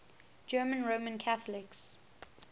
german roman catholics